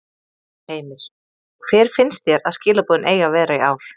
Heimir: Hver finnst þér að skilaboðin eigi að vera í ár?